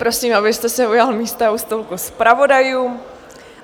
Prosím, abyste se ujal místa u stolku zpravodajů.